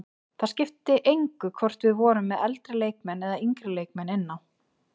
Það skipti engu hvort við vorum með eldri leikmenn eða yngri leikmenn inn á.